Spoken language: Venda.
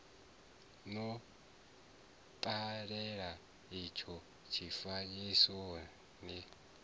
no ṱalela itsho tshifanyiso ni